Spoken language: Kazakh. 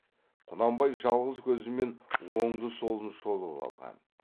құнанбай жалғыз көзімен оңды солын шолып алған